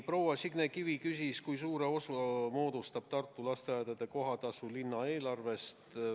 Proua Signe Kivi küsis, kui suure osa moodustab Tartu lasteaedade kohatasu linna eelarvest.